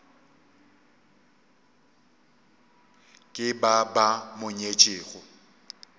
ke ba ba mo nyetšego